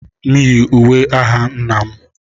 M yi uwe agha nna m